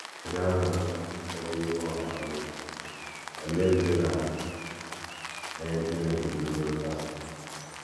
Bịa, Nụrụ Okwu Ihu Ọha Bụ́ “ Olee Ndị Na - enye Chineke Otuto Taa? ”